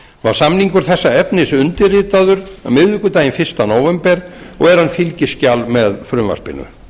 var samningur þessa efnis undirritaður miðvikudaginn fyrsta nóvember og er hann fylgiskjal með frumvarpinu